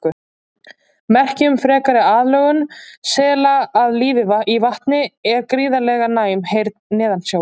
Merki um frekari aðlögun sela að lífi í vatni er gríðarlega næm heyrn neðansjávar.